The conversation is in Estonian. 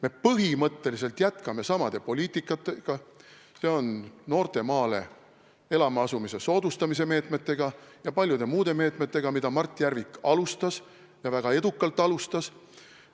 Me põhimõtteliselt jätkame sama poliitikaga, s.o noorte maale elama asumise soodustamise meetmetega ja paljude muude meetmetega, mida Mart Järvik alustas ja väga edukalt alustas.